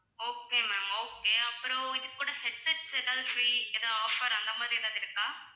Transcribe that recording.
okay ma'am okay அப்புறம் இது கூட headsets எதாவது free எதாவது offer அந்த மாதிரி எதாவது இருக்கா?